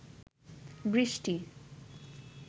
বৃষ্টি